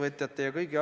Aitäh, härra minister!